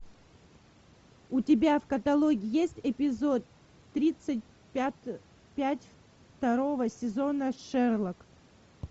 у тебя в каталоге есть эпизод тридцать пять второго сезона шерлок